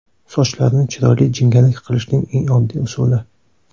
Sochlarni chiroyli jingalak qilishning eng oddiy usuli.